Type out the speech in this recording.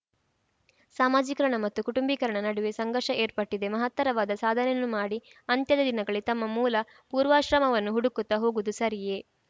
ಸಾಮಾಜೀಕರಣ ಮತ್ತು ಕುಟುಂಬೀಕರಣ ನಡುವೆ ಸಂಘರ್ಷ ಏರ್ಪಟ್ಟಿದೆ ಮಹತ್ತರವಾದ ಸಾಧನೆಯನ್ನು ಮಾಡಿ ಅಂತ್ಯದ ದಿನಗಳಲ್ಲಿ ತಮ್ಮ ಮೂಲಪೂರ್ವಾಶ್ರಮವನ್ನು ಹುಡುಕುತ್ತ ಹೋಗುವುದು ಸರಿಯೇ